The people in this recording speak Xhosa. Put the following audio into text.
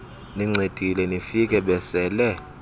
nincedile nifike besele